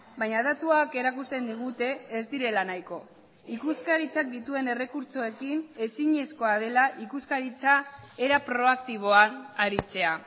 baina datuak erakusten digute ez direla nahiko ikuskaritzak dituen errekurtsoekin ezinezkoa dela ikuskaritza era proaktiboan aritzea